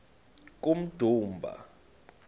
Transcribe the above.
kummdumba